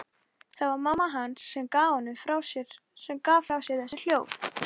Það var mamma hans sem gaf frá sér þessi hljóð.